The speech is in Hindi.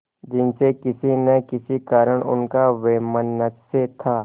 जिनसे किसी न किसी कारण उनका वैमनस्य था